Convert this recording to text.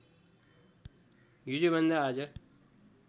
हिजोभन्दा आज